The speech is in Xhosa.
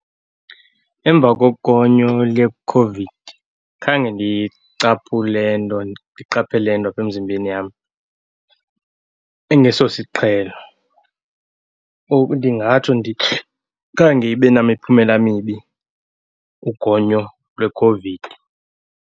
Emva kogonyo leCOVID, khange ndicaphule nto, ndiqaphele nto aphe mzimbeni yam engesosiqhelo . Ndingatsho , khange ibe namiphumela mibi ugonyo lweCOVID.